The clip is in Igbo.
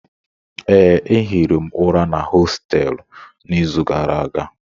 Ee, ehiri m ụra na hostelụ n'izu gara aga.